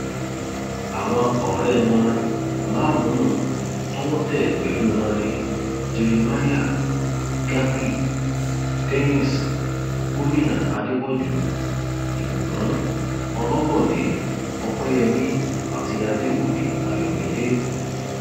àwọn ọrẹ wọn márùnún tọwọ tẹ pẹlú wọn ni jeremiah gabi dennis gomina adépọjú ìbùkún ọlọbọdé ọpẹyẹmí àti adéwúmí àyọmídé